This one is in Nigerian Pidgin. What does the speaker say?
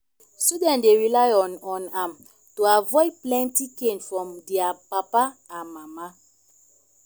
student dey rely on on am to avoid plenty cain from dia papa and mama